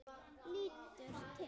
Lítur til hennar.